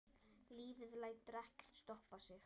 Lífið lætur ekkert stoppa sig.